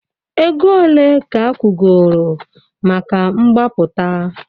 Ego ole ka akwụgoro maka mgbapụta?